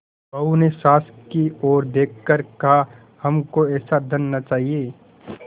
बहू ने सास की ओर देख कर कहाहमको ऐसा धन न चाहिए